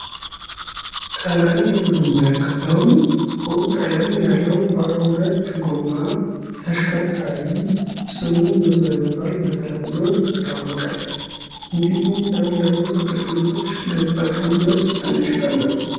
ከላይ የምንመለከተው ጥቁር ቀለም ያለው ባለሁለት ጎማ ተሽከርካሪ ስሙ በተለምዶ ምን በመባል ይታወቃል? እንዲሁም ለምን ለምን አገልገሎት ልንጠቀምበት እንችላለን ?